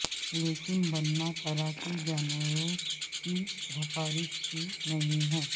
لیکن بننا طرح کے جانوروں کی سفارش کی نہیں ہے